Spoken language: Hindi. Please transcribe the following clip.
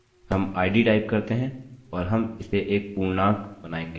हम id टाइप करते हैं और हम इसे एक पूर्णांक integer बनायेंगे